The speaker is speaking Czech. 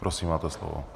Prosím máte slovo.